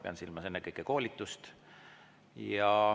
Pean silmas ennekõike koolitust.